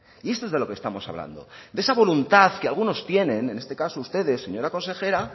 y esto es de lo que estamos hablando de esa voluntad que algunos tienen en este caso ustedes señora consejera